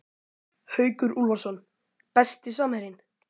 Haukur Úlfarsson Besti samherjinn?